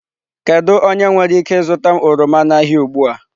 Kedu onye nwere ike zụta m oroma n'ahịa ugbu a?